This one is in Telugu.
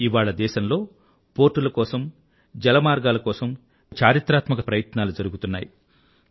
ఇవాళ దేశంలో పోర్టుల కోసం జల మార్గాల కోసం చారిత్రాత్మక ప్రయత్నాలు జరుగుతున్నాయి